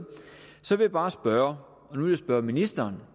så vil jeg bare spørge ministeren